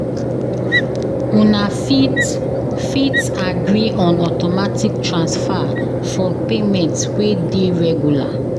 Una fit fit agree on automatic transfer for payment wey dey regular